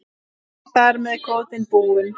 Er þar með kvótinn búinn?